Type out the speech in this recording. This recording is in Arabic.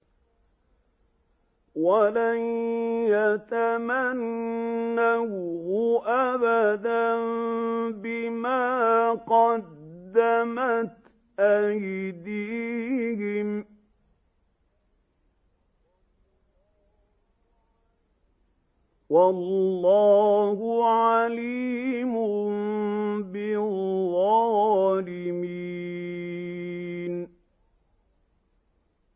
وَلَن يَتَمَنَّوْهُ أَبَدًا بِمَا قَدَّمَتْ أَيْدِيهِمْ ۗ وَاللَّهُ عَلِيمٌ بِالظَّالِمِينَ